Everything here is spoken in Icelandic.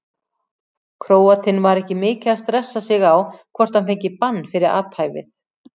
Króatinn var ekki mikið að stressa sig á hvort hann fengi bann fyrir athæfið.